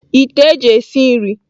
Ite eji esi nri.